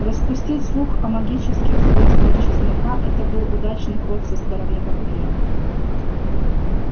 распустить слух о магических свойствах чеснока это был удачный ход со стороны вампиров